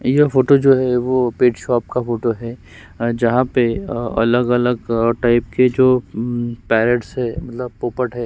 यह फोटो जो है वो पेट शॉप का फोटो है अ जहाँ पे अ अलग-अलग अ टाइप के जो अम पैरो्‍टस है मतलब पोपट है।